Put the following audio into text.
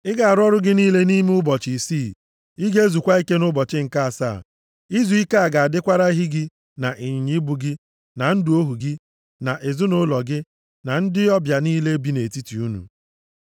“Ị ga-arụ ọrụ gị niile nʼime ụbọchị isii. Ị ga-ezukwa ike nʼụbọchị nke asaa. Izuike a ga-adịkwara ehi gị na ịnyịnya ibu gị, na ndị ohu gị nọ nʼezinaụlọ gị na ndị ọbịa niile bi nʼetiti unu.